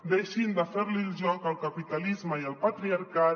deixin de ferli el joc al capitalisme i al patriarcat